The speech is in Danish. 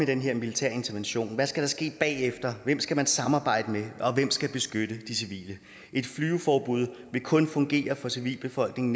den her militære intervention hvad skal der ske bagefter hvem skal man samarbejde med og hvem skal beskytte de civile et flyveforbud vil kun fungere for civilbefolkningen